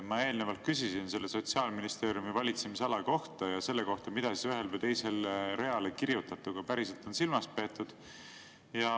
Ma eelnevalt küsisin Sotsiaalministeeriumi valitsemisala kohta ja selle kohta, mida siis ühele või teisele reale kirjutatuga päriselt on silmas peetud.